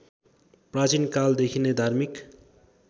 प्राचीनकालदेखि नै धार्मिक